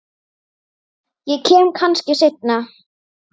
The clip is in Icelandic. Ég kem kannski seinna